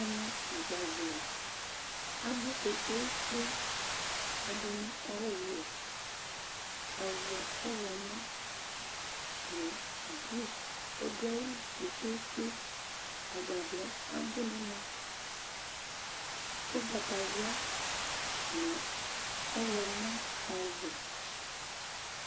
Ɛmɛ agbavlɛ abu kpekpékpe, ɛdini kɔ ɔwɛ, ɔvɛ k'ɔwlɔmɔ nu ɔdu ayili kpekpékpe, agbavlɛ abu n'ɛmɛ k'ugbatawla nu ɔwlɔmɔ, ɔwɛ